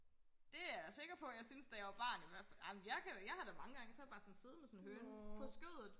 det er jeg sikker på at jeg syntes da jeg var barn i hvertfald amen jeg kan jeg har da mange gange så har jeg bare siddet med sådan en høne på skødet